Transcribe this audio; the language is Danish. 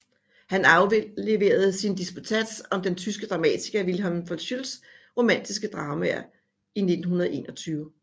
Han afleverede sin disputats om den tyske dramatiker Wilhelm von Schützs romantiske dramaer i 1921